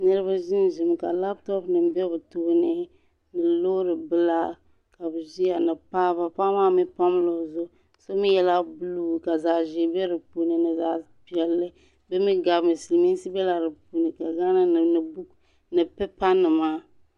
niriba ʒɛnʒɛmi ka latop nima bɛ be tooni ni lori bila ka be ʒɛya ni paɣ' ba paɣ' mi pamla o zʋɣ' gu mi yɛla bolu ka zaɣ' ʒɛ bɛ di puuni ni zaɣ' piɛlli di mi gami silimisi bɛ di puuni ni boku ni pipanima